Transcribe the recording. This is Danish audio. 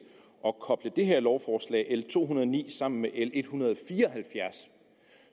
at koble det her lovforslag l to hundrede og ni sammen med l en hundrede og fire og halvfjerds